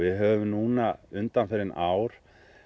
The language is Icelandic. höfum núna undanfarin ár